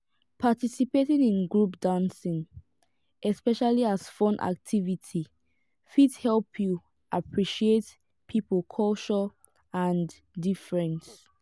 participating in group dancing especially as fun activity fit help you appreciate pipo culture and difference